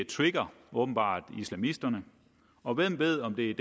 trigger åbenbart islamisterne og hvem ved om det er